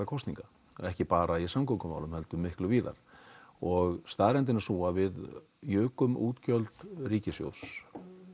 kosninga ekki bara í samgöngumálum heldur miklu víðar og staðreyndin er sú að við jukum útgjöld ríkissjóðs